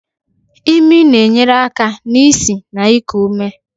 Imi na-enyere aka n'isi na iku ume.